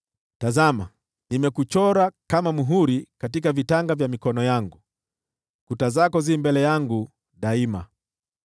Tazama, nimekuchora kama muhuri katika vitanga vya mikono yangu, kuta zako zi mbele yangu daima.